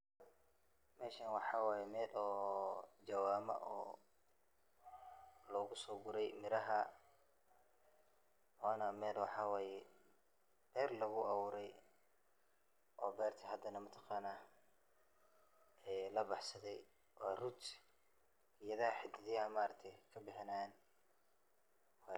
Meeshan waxaa waye meel oo jawaama oo lagu soo guray miraha, waana meel waxaa waye beer lagu abuure, oo beerta hadana mataqaana labaxsade, waa root geedaha xididaha ka bixinaayan waye.